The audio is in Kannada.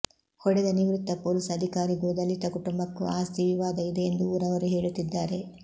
ಹೊಡೆದ ನಿವೃತ್ತ ಪೊಲೀಸ್ ಅಧಿಕಾರಿಗೂ ದಲಿತ ಕುಟುಂಬಕ್ಕೂ ಆಸ್ತಿವಿವಾದ ಇದೆ ಎಂದು ಊರವರು ಹೇಳುತ್ತಿದ್ದಾರೆ